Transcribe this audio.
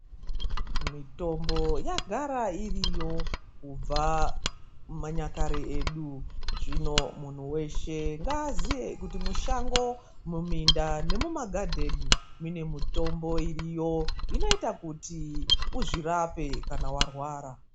Mitombo yagara iriyo kubva manyakare edu. Zvino munhu weshe ngaaziye kuti mushango; muminda; nemumagadheni mune mitombo iriyo, inoita kuti uzvirape kana warwara.